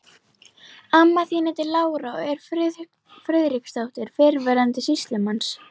Amma þín heitir Lára og er Friðriksdóttir, fyrrverandi sýslumanns.